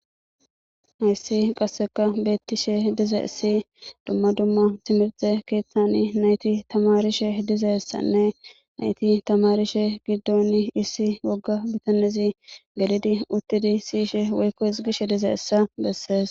hayssi qasseka beettishe dize si dumma dumma timirte keeththani nayti tamarishe dizessanne nayti tamarishe giddon issi wogga bitanizi gelidi uttidi siyishe woykko hisgishe dize essa bessees